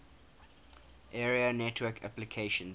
area network applications